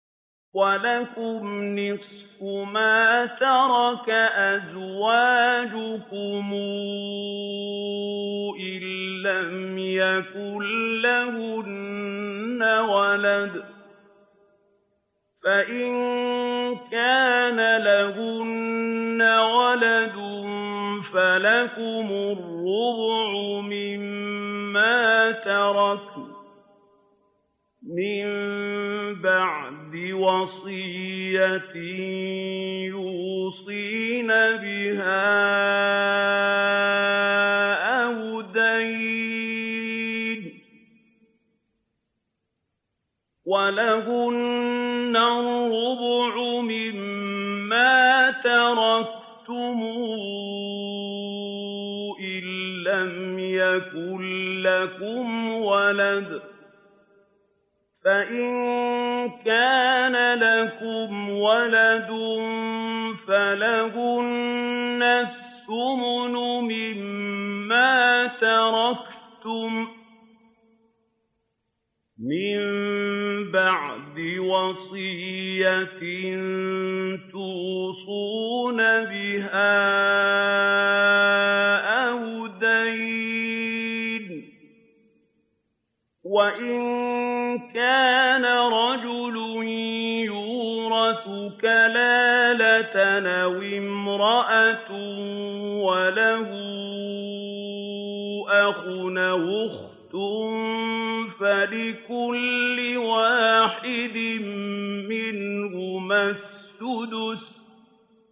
۞ وَلَكُمْ نِصْفُ مَا تَرَكَ أَزْوَاجُكُمْ إِن لَّمْ يَكُن لَّهُنَّ وَلَدٌ ۚ فَإِن كَانَ لَهُنَّ وَلَدٌ فَلَكُمُ الرُّبُعُ مِمَّا تَرَكْنَ ۚ مِن بَعْدِ وَصِيَّةٍ يُوصِينَ بِهَا أَوْ دَيْنٍ ۚ وَلَهُنَّ الرُّبُعُ مِمَّا تَرَكْتُمْ إِن لَّمْ يَكُن لَّكُمْ وَلَدٌ ۚ فَإِن كَانَ لَكُمْ وَلَدٌ فَلَهُنَّ الثُّمُنُ مِمَّا تَرَكْتُم ۚ مِّن بَعْدِ وَصِيَّةٍ تُوصُونَ بِهَا أَوْ دَيْنٍ ۗ وَإِن كَانَ رَجُلٌ يُورَثُ كَلَالَةً أَوِ امْرَأَةٌ وَلَهُ أَخٌ أَوْ أُخْتٌ فَلِكُلِّ وَاحِدٍ مِّنْهُمَا السُّدُسُ ۚ فَإِن كَانُوا أَكْثَرَ مِن ذَٰلِكَ فَهُمْ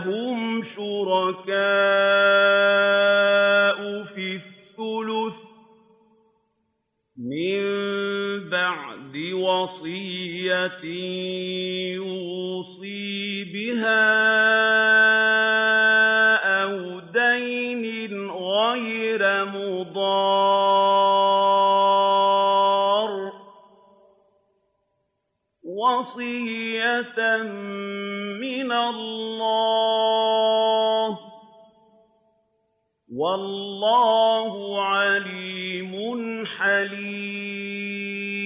شُرَكَاءُ فِي الثُّلُثِ ۚ مِن بَعْدِ وَصِيَّةٍ يُوصَىٰ بِهَا أَوْ دَيْنٍ غَيْرَ مُضَارٍّ ۚ وَصِيَّةً مِّنَ اللَّهِ ۗ وَاللَّهُ عَلِيمٌ حَلِيمٌ